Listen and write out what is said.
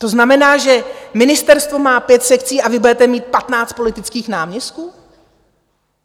To znamená, že ministerstvo má pět sekcí, a vy budete mít patnáct politických náměstků?